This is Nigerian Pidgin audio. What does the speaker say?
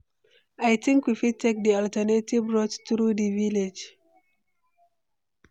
I think we fit take di alternative route through di village.